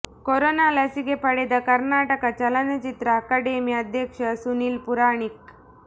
corona ಲಸಿಕೆ ಪಡೆದ ಕರ್ನಾಟಕ ಚಲನಚಿತ್ರ ಅಕಾಡೆಮಿ ಅಧ್ಯಕ್ಷ ಸುನೀಲ್ ಪುರಾಣಿಕ್